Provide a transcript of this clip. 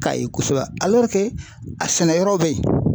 K'a ye kosɛbɛ a sɛnɛyɔrɔw bɛ yen